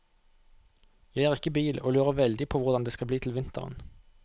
Jeg har ikke bil og lurer veldig på hvordan det skal bli til vinteren.